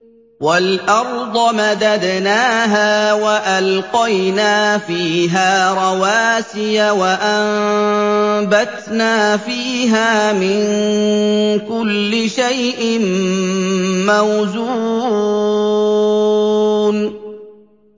وَالْأَرْضَ مَدَدْنَاهَا وَأَلْقَيْنَا فِيهَا رَوَاسِيَ وَأَنبَتْنَا فِيهَا مِن كُلِّ شَيْءٍ مَّوْزُونٍ